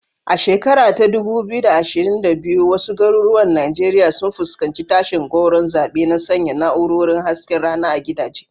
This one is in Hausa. A shekara ta 2022, wasu garuruwan Najeriya sun fuskanci tashin gwauron zaɓe na sanya na'urorin hasken rana a gidaje.